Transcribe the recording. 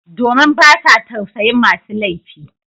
Domin ba sa tausayin masu laifi